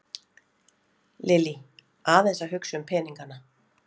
Lillý: Aðeins að hugsa um peningana?